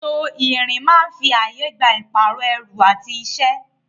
Ètò ìrìn máa ń fi ààyè gba ìpààrọ̀ ẹrù àti iṣẹ́.